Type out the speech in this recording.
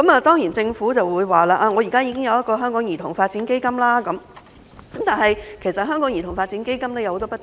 當然，政府會說，現時已設有兒童發展基金，但這項基金也有很多不足之處。